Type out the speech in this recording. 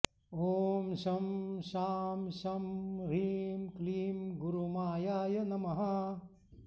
ॐ शं शां षं ह्रीं क्लीं गुरुमायाय नमः